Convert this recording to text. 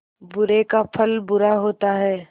बुरे का फल बुरा होता है